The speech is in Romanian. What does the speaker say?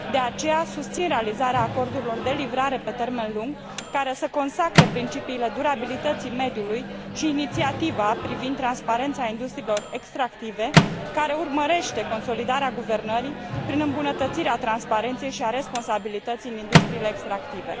De aceea, susțin realizarea acordurilor de livrare pe termen lung, care să consacre principiile durabilității mediului, și inițiativa privind transparența industriilor extractive, care urmărește consolidarea guvernării prin îmbunătățirea transparenței și a responsabilității în industriile extractive.